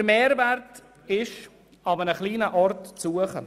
Der Mehrwert ist an einem kleinen Ort zu suchen.